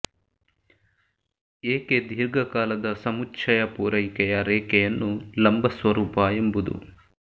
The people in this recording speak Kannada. ಏಕೆ ದೀರ್ಘಕಾಲದ ಸಮುಚ್ಚಯ ಪೂರೈಕೆ ರೇಖೆಯನ್ನು ಲಂಬ ಸ್ವರೂಪ ಎಂಬುದು